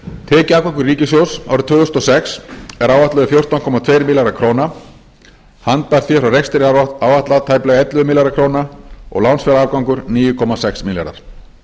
tekjuafgangur ríkissjóðs árið tvö þúsund og sex er áætlaður fjórtán komma tveir milljarðar króna handbært fé frá rekstri er áætlað tæplega ellefu milljarðar króna og lánsfjárafgangur níu komma sex milljarðar